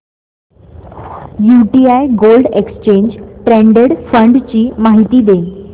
UTI gold exchange traded fund ची माहिती दे